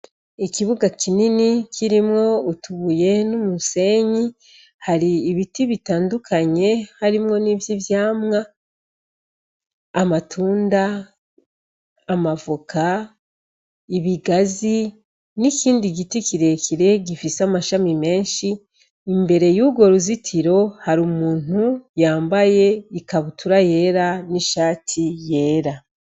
Ikibuga kinini kirimwo utuye n'umusenyi hari ibiti bitandukanye harimwo n'ivyo ivyamwa amatunda amavoka ibigazi n'ikindi giti kirekire gifise amashami menshi imbere yugora uzitiro hari umuntu yambaye ikabutura yera n'ishati yera.